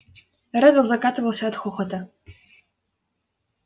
реддл закатывался от хохота